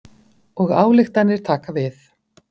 Og ályktanir taka við.